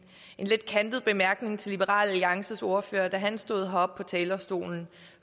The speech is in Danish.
lidt kantet bemærkning til liberal alliances ordfører da han stod heroppe på talerstolen